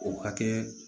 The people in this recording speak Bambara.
O hakɛ